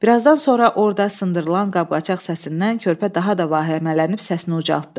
Birazdan sonra orda sındırılan qab-qacaq səsindən körpə daha da vəhəmələnib səsini ucaltdı.